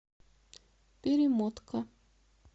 перемотка